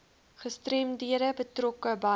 gestremdhede betrokke by